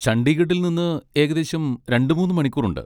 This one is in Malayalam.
ചണ്ഡീഗഡിൽ നിന്ന് ഏകദേശം രണ്ട് മൂന്ന് മണിക്കൂറുണ്ട്.